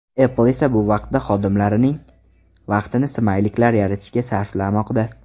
Apple esa bu vaqtda xodimlarining vaqtini smayliklar yaratishga sarflamoqda.